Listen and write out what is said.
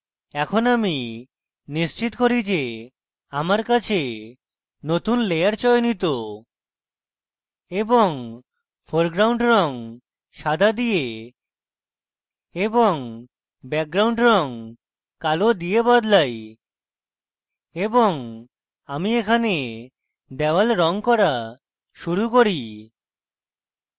এখন আমি নিশ্চিত করি কে আমার কাছে নতুন layer চয়নিত এবং foreground রঙ সাদা দিয়ে এবং background রঙ কালো দিয়ে বদলাই এবং আমি এখানে wall রঙ করা শুরু করি